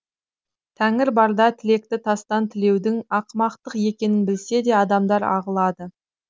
тәңір барда тілекті тастан тілеудің ақымақтық екенін білсе де адамдар ағылады